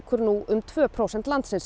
nú um tvö prósent landsins